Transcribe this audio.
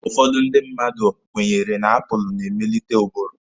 Ọtụtụ ndị mmadụ kwenyere na aapụlụ na-emelite ụbụrụ.